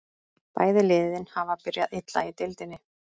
Bæði liðin hafa byrjað illa í deildinni.